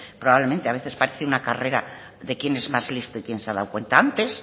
probablemente a veces además parece una carrera de quien es más listo y quien se ha dado cuenta antes